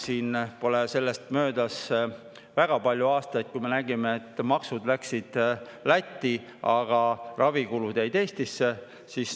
Sellest pole möödas väga palju aastaid, kui me nägime, et maksuraha läks Lätti, aga ravikulud jäid Eestisse.